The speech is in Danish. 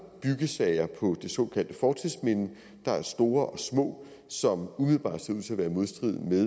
byggesager på det såkaldte fortidsminde der er store og små som umiddelbart ser ud til at være i modstrid med